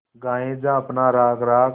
गाये जा अपना राग राग